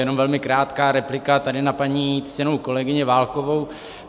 Jenom velmi krátká replika tady na paní ctěnou kolegyni Válkovou.